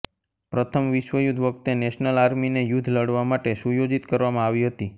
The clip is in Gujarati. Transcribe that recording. પ્રથમ વિશ્વ યુદ્ધ વખતે નેશનલ આર્મીને યુદ્ધ લડવા માટે સુયોજિત કરવામાં આવી હતી